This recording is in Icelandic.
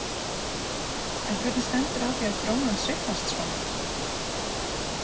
En hvernig stendur á því að krónan sveiflast svona?